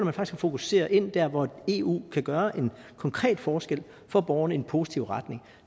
fokusere ind dér hvor eu kan gøre en konkret forskel for borgerne i en positiv retning